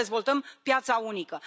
Cum să dezvoltăm piața unică?